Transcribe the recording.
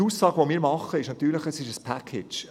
Unsere Aussage lautet: «Es ist ein ‹Package›.»